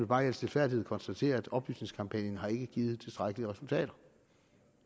bare i al stilfærdighed konstatere at oplysningskampagnen ikke har givet tilstrækkelige resultater